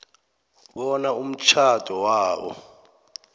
bona umtjhado wabo